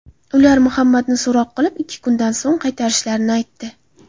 Ular Muhammadni so‘roq qilib, ikki kundan so‘ng qaytarishlarini aytdi.